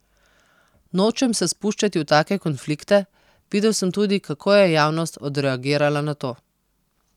Nočem se spuščati v take konflikte, videl sem tudi, kako je javnost odreagirala na to.